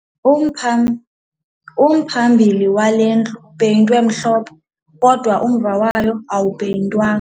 Umphambili wale ndlu upeyintwe mhlophe kodwa umva wayo awupeyintwanga.